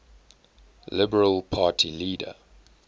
liberal party leader